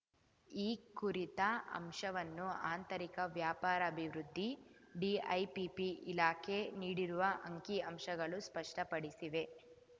ಈ ಕುರಿತ ಅಂಶವನ್ನು ಆಂತರಿಕ ವ್ಯಾಪಾರಾಭಿವೃದ್ಧಿ ಡಿಐಪಿಪಿ ಇಲಾಖೆ ನೀಡಿರುವ ಅಂಕಿಅಂಶಗಳು ಸ್ಪಷ್ಟಪಡಿಸಿವೆ